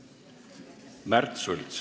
Märt Sults.